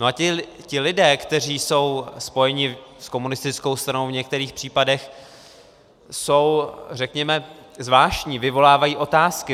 No a ti lidé, kteří jsou spojeni s komunistickou stranou, v některých případech jsou, řekněme, zvláštní, vyvolávají otázky.